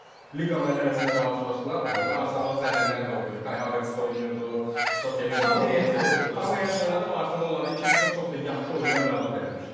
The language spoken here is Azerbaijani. Liqa mərhələsində qarşılaşdılar, onda Arsenalın zədəliləri də yox idi, Kai Havertz də oynayırdı, tam heyəti ilə oynayırdı Arsenal onları 2-0 çox da yaxşı oyundan məğlub eləmişdi.